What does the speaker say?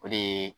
O de ye